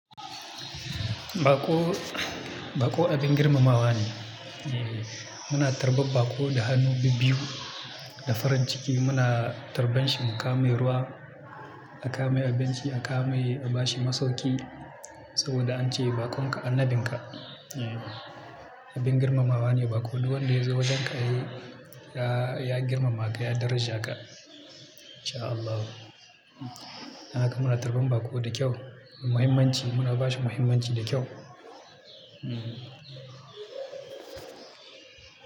Baƙo, baƙo abin girmamawa ne. Muna tarbar baƙo da hannu bibiyu, da farin ciki muna tarban shi mu kawo mai ruwa, a kawo mai abinci, a kawo mai a ba shi masauki. Saboda an ce baƙon ka annabin ka. Abin girmamawa ne baƙo, duk wanda ya zo wajenka ya, ya girmama ka, ya daraja ka. Insha Allahu. Haka muna tarban baƙo da kyau, muhimmanci muna ba shi muhimmanci da kyau. Hmm.